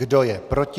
Kdo je proti?